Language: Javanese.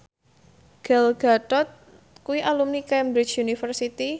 Gal Gadot kuwi alumni Cambridge University